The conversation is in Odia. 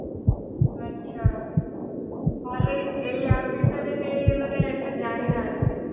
ଆଚ୍ଛା ତାହେଲେ ଏଇ app ବିଷୟରେ କେହି ମାନେ ଏତେ ଜାଣିନାହାନ୍ତି